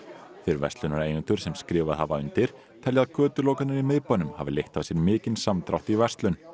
þeir verslunareigendur sem skrifað hafa undir telja að götulokanir í miðbænum hafi leitt af sér mikinn samdrátt í verslun